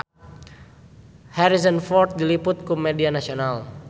Harrison Ford diliput ku media nasional